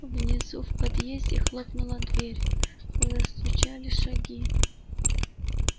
внизу в подъезде хлопнула дверь застучали шаги